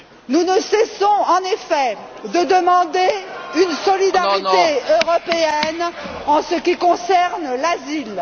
Nous ne cessons, en effet, de demander une solidarité européenne en ce qui concerne l'asile.